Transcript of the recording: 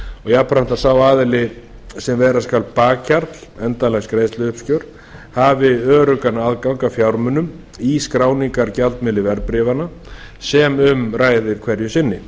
jafnframt að sá aðili sem vera skal bakhjarl endanlegs greiðsluuppgjörs hafi öruggan aðgang að fjármunum í skráningargjaldmiðli verðbréfanna sem um er að ræða hverju sinni